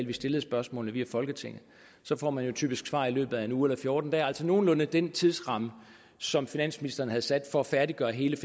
vi stillede spørgsmålene via folketinget så får man jo typisk svar i løbet af en uge eller fjorten dage altså nogenlunde den tidsramme som finansministeren havde sat for at færdiggøre hele